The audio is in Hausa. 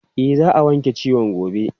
E, za a wanke ciwon gobe.